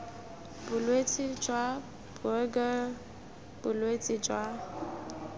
bolwetse jwa buerger bolwetse jwa